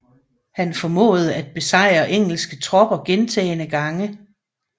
Han formåede at besejre engelske tropper gentagende gange